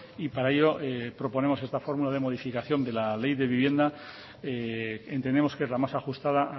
y para ello proponemos esta fórmula de modificación de la ley de vivienda entendemos que es la más ajustada